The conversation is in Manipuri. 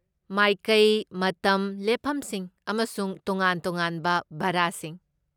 ꯃꯥꯏꯀꯩ, ꯃꯇꯝ, ꯂꯦꯞꯐꯝꯁꯤꯡ, ꯑꯃꯁꯨꯡ ꯇꯣꯉꯥꯟ ꯇꯣꯉꯥꯟꯕ ꯚꯔꯥꯁꯤꯡ꯫